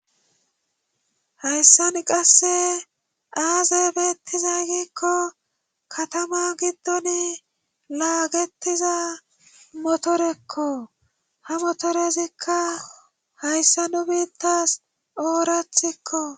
Hayssan qasse aaze beettiza giikko katama giddon laagetiza motorekko ha motorezikka hayssa nu biittas oorathikko